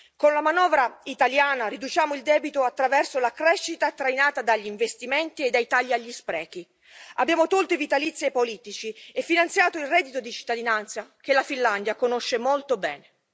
Con la manovra italiana riduciamo il debito attraverso la crescita trainata dagli investimenti e dai tagli agli sprechi, abbiamo tolto i vitalizi ai politici e finanziato il reddito di cittadinanza che la Finlandia conosce molto bene.